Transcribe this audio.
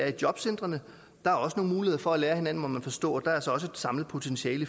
er jobcentrene der er også nogle muligheder for at lære af hinanden må man forstå og der er så et samlet potentiale